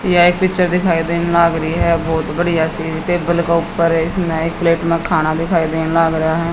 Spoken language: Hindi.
यह एक पिक्चर दिखाई देन लाग रही है बहोत बढ़िया सी टेबल के ऊपर है इसमें एक प्लेट के ऊपर खाना दिखाई देन लाग रेया है।